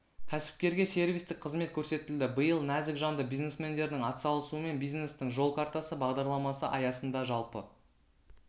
кәсіпкерге сервистік қызмет көрсетілді биыл нәзік жанды бизнесмендердің атсалысуымен бизнестің жол картасы бағдарламасы аясында жалпы